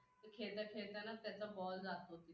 तो खेळता खेळता ना त्याचा ball जातो.